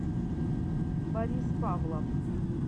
борис павлов